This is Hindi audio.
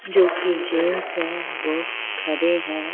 जो कि जेंट्स हैं वो खड़े हैं।